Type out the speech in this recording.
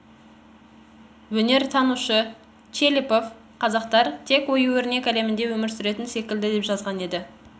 өнертанушы чепелов қазақтар тек ою-өрнек әлемінде өмір сүретін секілді деп жазған еді